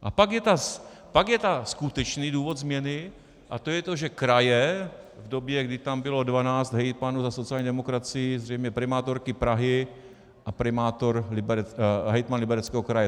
A pak je ten skutečný důvod změny, a to je to, že kraje v době, kdy tam bylo 12 hejtmanů za sociální demokracii, zřejmě primátorky Prahy a hejtman Libereckého kraje.